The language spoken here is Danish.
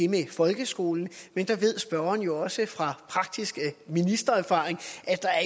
med folkeskolen men der ved spørgeren jo også fra praktisk ministererfaring